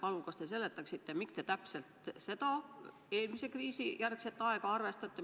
Kas te seletaksite, miks te täpselt eelmise kriisi järgset aega arvestate?